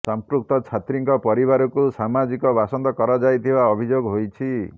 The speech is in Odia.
ସମ୍ପୃକ୍ତ ଛାତ୍ରୀଙ୍କ ପରିବାରକୁ ସାମାଜିକ ବାସନ୍ଦ କରାଯାଇଥିବା ଅଭିଯୋଗ ହୋଇଛି